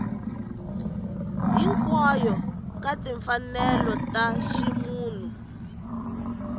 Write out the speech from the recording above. hinkwayo ka timfanelo ta ximunhu